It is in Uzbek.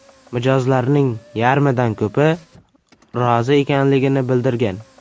Mijozlarning yarmidan ko‘pi rozi ekanligini bildirgan.